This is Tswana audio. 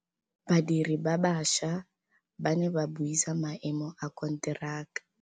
Badiri ba baša ba ne ba buisa maêmô a konteraka.